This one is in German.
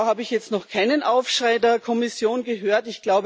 Da habe ich jetzt noch keinen Aufschrei der Kommission gehört.